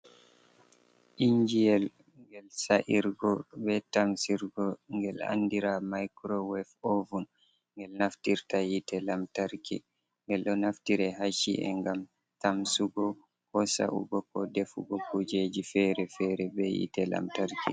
Injiyel gel sa irgo be tamsirgo ngel andira microwave oven. Ngel naftirta yite lamtarki, ngel do naftira ha shi’e gam tamsugo, ko sau'go ko defugo kujeji fere-fere be yite lamtarki.